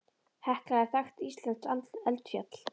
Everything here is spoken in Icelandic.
Hekla er þekkt íslenskt eldfjall.